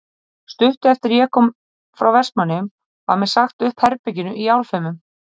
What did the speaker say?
Stuttu eftir að ég kom frá Vestmannaeyjum var mér sagt upp herberginu í Álfheimum.